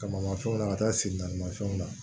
Kamanmafɛnw na ka taa sen naani mafɛnw na